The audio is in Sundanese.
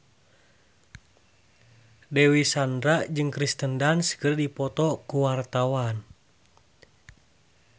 Dewi Sandra jeung Kirsten Dunst keur dipoto ku wartawan